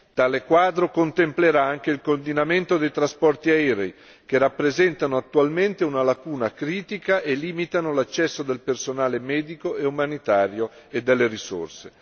Tale quadro contemplerà anche il coordinamento dei trasporti aerei, che rappresentano attualmente una lacuna critica e limitano l'accesso del personale medico e umanitario e delle risorse.